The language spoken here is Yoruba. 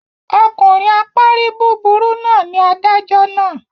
Ọkùnrin apárí búburú náà ni adájọ́ náà.